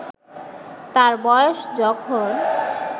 তার বয়স যখন